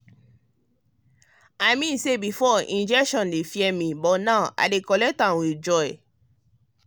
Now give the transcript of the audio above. i mean say before injection dey fear me now i dey collect am with joy.